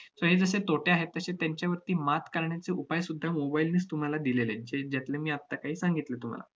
तर हे जसे तोटे आहेत, तसे त्यांच्यावरती मात करण्याचे उपाय सुद्धा mobile नेच तुम्हाला दिलेले आहेत, जे~ ज्यातले मी आत्ता काही सांगितले तुम्हाला.